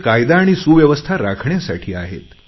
ते कायदा आणि सुव्यवस्था राखण्यासाठी आहेत